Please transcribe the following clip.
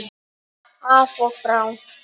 Af og frá!